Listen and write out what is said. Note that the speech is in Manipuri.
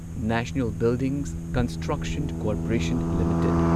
national buildings construction corporation limited